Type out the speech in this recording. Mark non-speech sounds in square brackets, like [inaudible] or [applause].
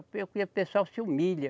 [unintelligible] O pessoal se humilha.